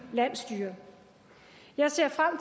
landsstyre jeg ser frem